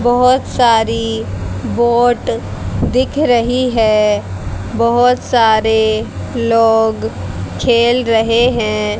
बहोत सारी बोट दिख रही है बहोत सारे लोग खेल रहें हैं।